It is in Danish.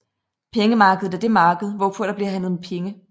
Pengemarkedet er det marked hvorpå der bliver handlet med penge